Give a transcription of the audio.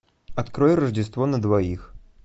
открой рождество на двоих